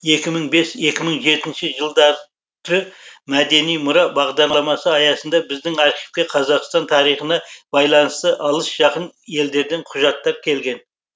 екі мың бес екі мың жетінші жылдары мәдени мұра бағдарламасы аясында біздің архивке қазақстан тарихына байланысты алыс жақын елдерден құжаттар келген